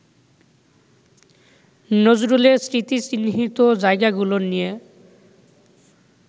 নজরুলের স্মৃতিচিহ্নিত জায়গাগুলো নিয়ে